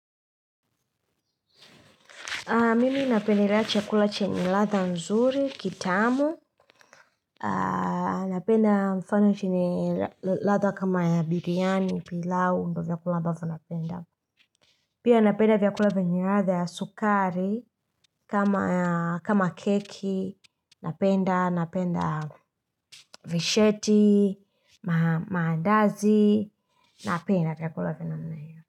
Mimi napendelea chakula chenye ladha nzuri, kitamu, napenda mfano chenye ladha kama ya biryani, pilau, ndo vyakula ambavyo napenda. Pia napenda vyakula vyenye ladha ya sukari, kama keki, napenda, napenda visheti, maandazi, napenda vyakula vya namna hio.